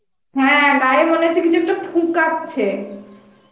হ্যাঁ গায়ে মনে হচ্ছে কিছু একটা ফুকাচ্ছে